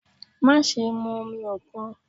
Maṣe mu omi okun!